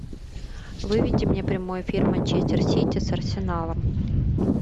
выведи мне прямой эфир манчестер сити с арсеналом